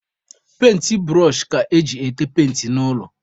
Penti bụrọshị ka eji ete penti n'ụlọ.